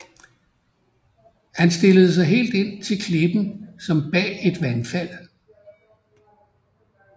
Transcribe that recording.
Han stillede sig helt ind til klippen som bag et vandfald